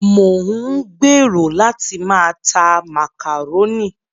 Mò ń gbèrò láti máa ta màkàrónì.